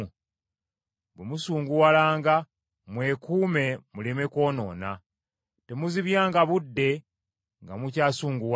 “Bwe musunguwalanga mwekuume muleme kwonoona.” Temuzibyanga budde nga mukyasunguwadde.